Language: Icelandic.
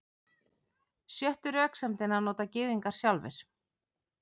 Sjöttu röksemdina nota Gyðingar sjálfir.